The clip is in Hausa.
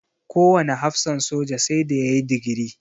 Kowane hafsan soja sai da ya yi digiri.